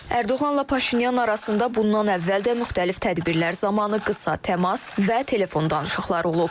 Ərdoğanla Paşinyan arasında bundan əvvəl də müxtəlif tədbirlər zamanı qısa təmas və telefon danışıqları olub.